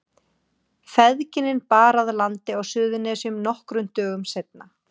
Feðginin bar að landi á Suðurnesjum nokkrum dögum seinna.